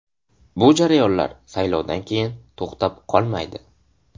Bu jarayonlar saylovdan keyin to‘xtab qolmaydi.